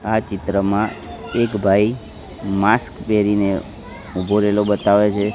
આ ચિત્રમાં એક ભાઈ માસ્ક પહેરીને ઊભો રેલો બતાવે છે.